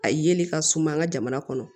A yeli ka suma an ka jamana kɔnɔ